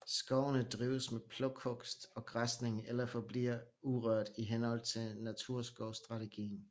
Skovene drives med plukhugst og græsning eller forbliver urørt i henhold til naturskovsstrategien